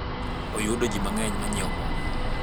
oyudo ji mangeny manyiewo mo